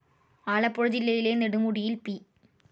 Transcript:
ആലപ്പുഴ ജില്ലയിലെ നെടുമുടിയിൽ പി.